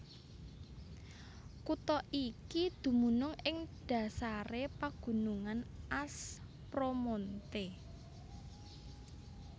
Kutha iki dumunung ing dhasaré pagunungan Aspromonte